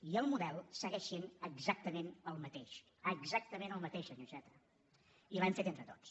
i el model segueix sent exactament el mateix exactament el mateix senyor iceta i l’hem fet entre tots